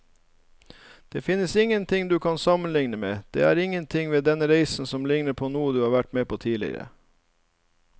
Det finnes ingenting du kan sammenligne med, det er ingenting ved denne reisen som ligner på noe du har vært med på tidligere.